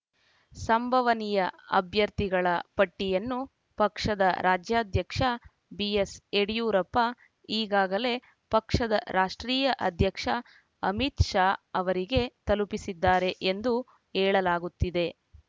ಸಂಭವನೀಯ ಅಭ್ಯರ್ಥಿಗಳ ಪಟ್ಟಿಯನ್ನು ಪಕ್ಷದ ರಾಜ್ಯಾಧ್ಯಕ್ಷ ಬಿಎಸ್ ಯಡಿಯೂರಪ್ಪ ಈಗಾಗಲೇ ಪಕ್ಷದ ರಾಷ್ಟ್ರೀಯ ಅಧ್ಯಕ್ಷ ಅಮಿತ್ ಶಾ ಅವರಿಗೆ ತಲುಪಿಸಿದ್ದಾರೆ ಎಂದು ಹೇಳಲಾಗುತ್ತಿದೆ